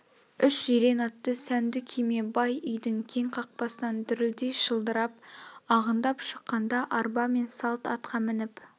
үш жирен атты сәнді күйме бай үйдің кең қақпасынан дүрлдей шылдырап ағындап шыққанда арба мен салт атқа мініп